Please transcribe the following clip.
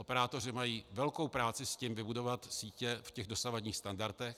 Operátoři mají velkou práci s tím vybudovat sítě v těch dosavadních standardech.